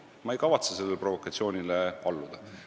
Ma ei kavatse sellele provokatsioonile alluda.